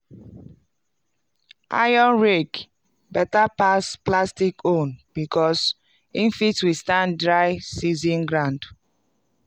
iron rake beta pass plastic own becos e fit withstand dry season ground.